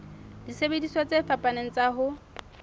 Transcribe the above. disebediswa tse fapaneng tsa ho